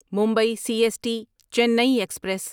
Mumbai C S T Chennai express